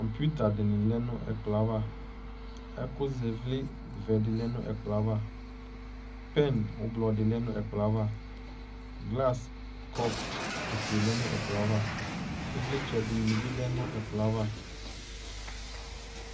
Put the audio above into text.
Kɔŋpitadɩnɩ lɛ nʋ ɛkplɔaava , ɛkʋz'ɩvlɩ vɛdɩ lɛ nʋ ɛkplɔaava, pɛn ʋblɔdɩ lɛ nʋ ɛkplɔaava , glas , kɔp ofue lɛ nʋ ɛkplɔaava; ɩvlɩtsɛdɩnɩ bɩ lɛ nʋ ɛkplɔaava